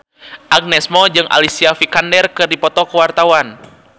Agnes Mo jeung Alicia Vikander keur dipoto ku wartawan